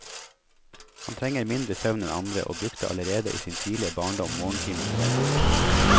Han trenger mindre søvn enn andre, og brukte allerede i sin tidlige barndom morgentimene vel.